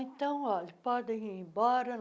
Então olha, podem ir embora.